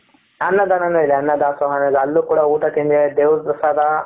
ಅನ್ನದಾನ ನು ಇದೆ ಅನ್ನದಾಸೋಹ ಅಲ್ಲೂ ಕೂಡ ಊಟ ತಿಂದೆ ದೇವರ ಪ್ರಸಾದ.